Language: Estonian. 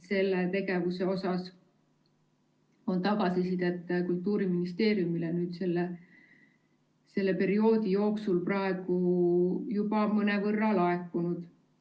Selle tegevuse kohta on tagasisidet Kultuuriministeeriumile selle perioodi jooksul praegu juba mõnevõrra laekunud.